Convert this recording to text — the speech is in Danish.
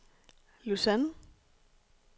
Lausanne